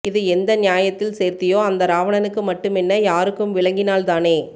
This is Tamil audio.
இது எந்த நியாயத்தில் சேர்த்தியோ அந்த ராவணனுக்கு மட்டுமென்ன யாருக்கும் விளங்கினால்தானே